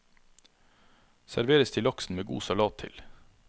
Serveres til laksen med god salat til.